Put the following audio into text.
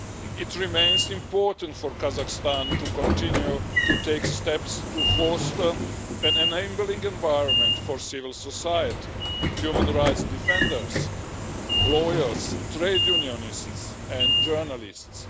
It remains important for Kazakhstan to continue to take steps to foster an enabling environment for civil society, human rights defenders, lawyers, trade unionists and journalists.